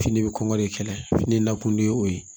Fini bɛ kɔn ka de kɛlɛ fini na kunde o ye